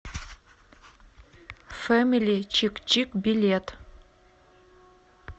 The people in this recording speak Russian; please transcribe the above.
фэмили чик чик билет